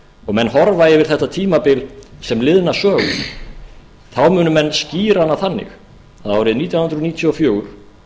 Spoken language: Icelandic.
og menn horfa yfir þetta tímabil sem liðna sögu munu menn skýra hana þannig að árið nítján hundruð níutíu og fjögur